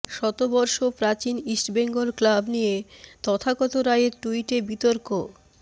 শতবর্ষ প্রাচীন ইস্টবেঙ্গল ক্লাব নিয়ে তথাগত রায়ের টুইটে বিতর্ক